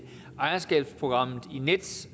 ejerskabsprogrammet i nets